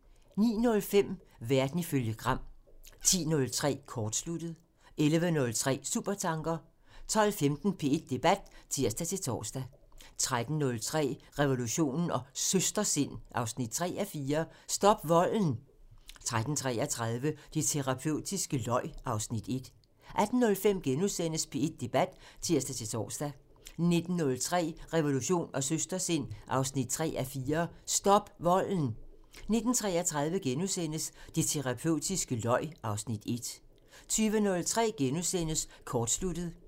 09:05: Verden ifølge Gram (tir) 10:03: Kortsluttet (tir) 11:03: Supertanker (tir) 12:15: P1 Debat (tir-tor) 13:03: Revolution & Søstersind 3:4 – Stop volden! 13:33: Det terapeutiske løg (Afs. 1) 18:05: P1 Debat *(tir-tor) 19:03: Revolution & Søstersind 3:4 – Stop volden! 19:33: Det terapeutiske løg (Afs. 1)* 20:03: Kortsluttet *(tir)